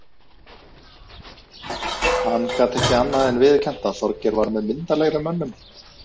Hann gat ekki annað en viðurkennt að Þorgeir var með myndarlegri mönnum.